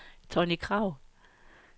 Tonni Kragh